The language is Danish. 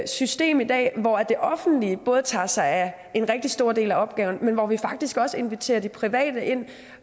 system i dag hvor det offentlige tager sig af en rigtig stor del af opgaverne men hvor vi faktisk også inviterer de private ind